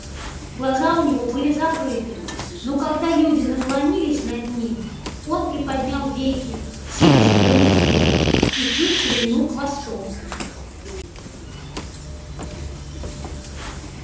глаза у него были закрыты но когда люди наклонились над ним он приподнял веки силясь взглянуть вверх и чуть шевельнул хвостом